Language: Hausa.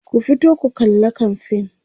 ku fito ku kalla kamfain!